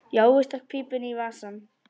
Jói stakk pípunni í vasann.